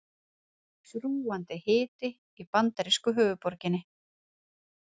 Þrúgandi hiti í bandarísku höfuðborginni